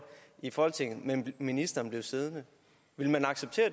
i folketinget men ministeren blev siddende ville man acceptere